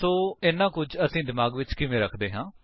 ਸੋ ਇੰਨਾ ਕੁਝ ਅਸੀ ਦਿਮਾਗ ਵਿੱਚ ਕਿਵੇਂ ਰੱਖਦੇ ਹਾਂ